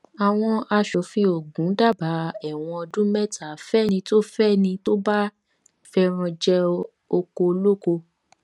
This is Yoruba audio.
àwọn aṣòfin ogun dábàá ẹwọn ọdún mẹta fẹni tó fẹni tó bá fẹràn jẹ ọkọ ọlọkọ